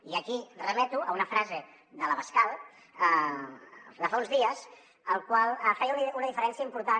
i aquí remeto a una frase de l’abascal de fa uns dies el qual feia una diferència important